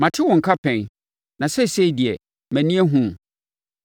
Mate wo nka pɛn, na seesei deɛ, mʼani ahunu wo.